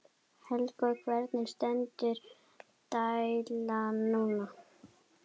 Helga: Hvernig stendur deilan núna?